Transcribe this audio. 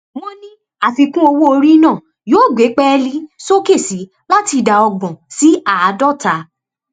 wọn ní àfikún owó orí náà yóò gbé pẹẹlí sókè sí i láti ìdá ọgbọn sí àádọta